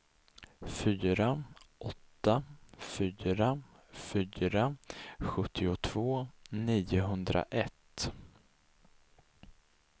fyra åtta fyra fyra sjuttiotvå niohundraett